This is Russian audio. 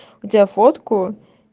у тебя фотку